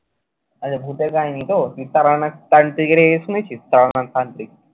আচ্ছা, ভুতের কাহিনী তো। তুই তান্ত্রিকের কাহিনী শুনেছিস। তান্ত্রিক।